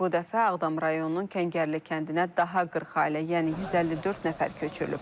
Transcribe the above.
Bu dəfə Ağdam rayonunun Kəngərli kəndinə daha 40 ailə, yəni 154 nəfər köçürülüb.